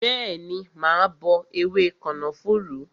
Bẹẹni, mà á bọ ewé kànáfùrú